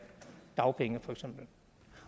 dagpenge for eksempel